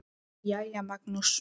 Jæja, Magnús.